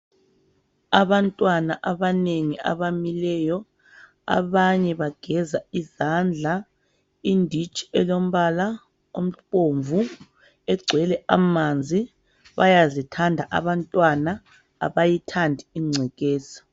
Abantwana abanengi abamileyo abanye bageza izandla, inditshi elombala obomvu egcwele amanzi, bayazithanda abantwana abayithandi ingcekeza.